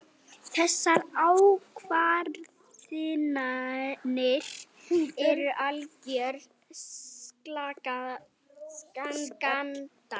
Þessar ákvarðanir eru algjör skandall.